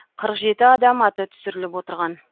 қырық жеті адам аты түсіріліп отырған